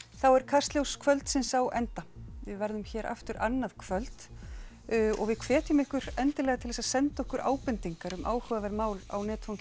þá er Kastljós kvöldsins á enda við verðum hér aftur annað kvöld og við hvetjum ykkur endilega til að senda okkur ábendingar um áhugaverð mál á netfangið